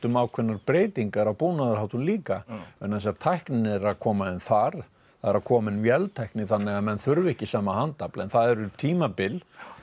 ákveðnar breytingar á búnaðarháttum líka vegna þess að tæknin er að koma inn þar það er að koma inn véltækni þannig að menn þurfa ekki sama handafl en það eru tímabil